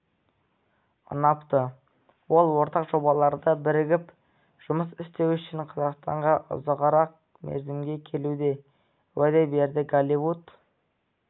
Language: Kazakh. ұнапты ол ортақ жобаларда бірігіп жұмыс істеу үшін қазақстанға ұзағырақ мерзімге келуге уәде берді голливуд